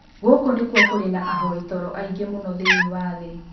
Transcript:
Gũkũ nĩkuo kũrĩ na ahoi toro aingĩ mũno thĩinĩ wa thĩ.